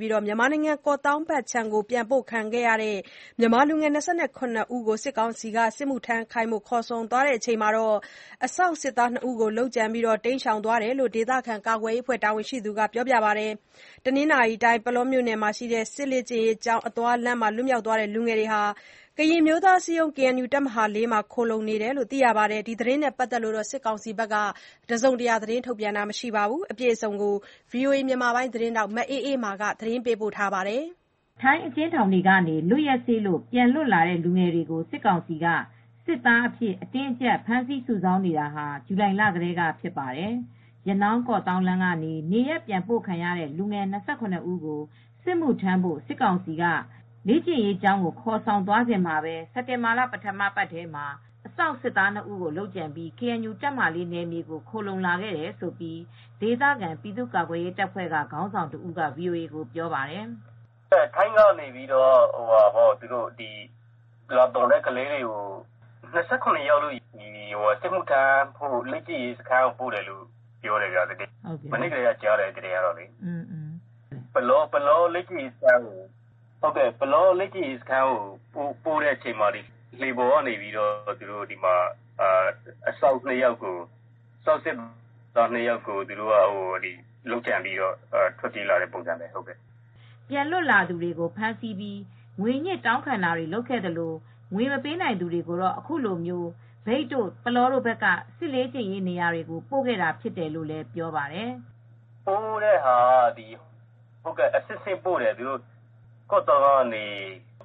ပြီး မြန်မာနိုင်ငံ ကော့သောင်းဖက်ကို ပြန်ပို့ခံရတဲ့ လူငယ် ၂၇ ဦးကို စစ်မှုထမ်းခိုင်းဖို့ ခေါ်ဆောင်သွားစဉ် အစောင့်စစ်သား ၂ ဦးကို သတ်ဖြတ်ပြီး တိမ်းရှောင်သွားတယ်လို့ ဒေသခံ ကာကွယ်ရေးအဖွဲ့တာဝန်ရှိသူက ပြောပါတယ်။ တနင်္သာရီတိုင်း၊ ပုလောမြို့နယ်က စစ်လ့ကျင့်ရေးကျောင်းအသွားလမ်းမှာ လွတ်မြောက်သွားတဲ့ လူငယ်တွေဟာ ကရင်အမျိုးသားအစည်းအရုံး (KNU) တပ်မဟာ(၄)ထံ ခိုလှုံသွားတယ်လို့လည်း ပြောပါတယ်။ ဒီသတင်းနဲ့ ပတ်သက်လို့ စစ်ကောင်စီက တစုံတရာ ထုတ်ပြန်တာတေ့ မတွေ့ရသေးပါဘူး။ အပြည့်အစုံကိုတော့ ဗွီအိုအေ သတင်းထောက် မအေးအေးမာ သတင်းပေးပို့ထားပါတယ်။ ထိုင်းအကျဉ်းထောင်တွေက လွက်ရက်စေ့လို့ ပြန်လွတ်လာတဲ့လူငယ်တွေကို စစ်ကောင်စီက စစ်သားအဖြစ်အတင်းအကြပ်ဖမ်းဆီးစုဆောင်းနေတာဟာ ဇူလိုင်လကတည်းကဖြစ်ပါတယ်။ ရနောင်းကော့သောင်းလမ်းကနေ နေရပ်ပြန်ပို့ခံရတဲ့လူငယ် ၂၇ ဦး ကို စစ်မှုထမ်းဖို့စစ်ကောင်စီ လေ့ကျင့်ရေးကျောင်းကို ခေါ်ဆောင်လာတုန်းမှာပဲ စက်တင်ဘာလ ပထမအပတ်ထဲမှာပဲ အစောင့် စစ်သား ၂ဦးကို လုပ်ကြံပြီး KNU တပ်မဟာ (၄) နယ်မြေကိုခိုလှုံလာခဲ့တယ်လို့ဒေသခံ ပြည်သူ့ကာကွယ်ရေးတပ်ဖွဲ့က ခေါင်းဆောင်တဦးက VOAကိုပြောပါတယ်။ "ထိုင်းကလာသွန်တဲ့ ကလေးတွေကို စစ်မှုထမ်းဖို့ လေ့ကျင့်ရေးစခန်းကိုပို့တယ် မနေ့ကတည်းကကြားရတယ် ပုလော လေ့ကျင့်ရေးစခန်းကိုပို့ချိန်မှာလှေပေါ်က အစောင့်စစ်သား၂ယောက်ကို လုပ်ကြံပြီးတော့ထွက်ပြေးလာတဲ့ပုံစံပေါ့" ပြန်လွတ်လာသူတွေကို ဖမ်းဆီးပြီးငွေညှစ်တောင်းခံတာတွေလုပ်ခဲ့သလို ငွေ မပေးနိုင်သူတွေကိုတော့အခုလိုမြိတ်တို့ ပုလောတို့ဘက်က စစ်လေ့ကျင့်ရေးနေရာတွေဆီကို ပို့တာဖြစ်တယ်လို့လည်းပြောပါတယ်။ "ပို့တာကတော့ အဆင့်အဆင့်ပို့တယ် ကော့သောင်းကနေ